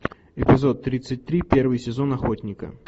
эпизод тридцать три первый сезон охотника